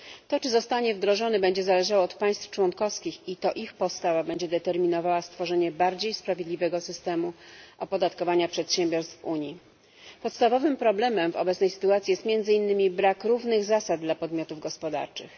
To, czy zostanie wdrożony, będzie zależało od państw członkowskich i to ich postawa będzie determinowała stworzenie bardziej sprawiedliwego systemu opodatkowania przedsiębiorstw w Unii. Podstawowym problemem w obecnej sytuacji jest między innymi brak równych zasad dla podmiotów gospodarczych.